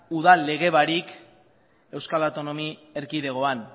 udal lege barik euskal autonomi erkidegoan